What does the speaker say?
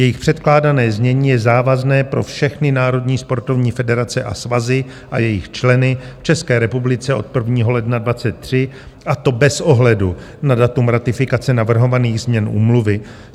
Jejich předkládané znění je závazné pro všechny národní sportovní federace a svazy a jejich členy v České republice od 1. ledna 2023, a to bez ohledu na datum ratifikace navrhovaných změn úmluvy.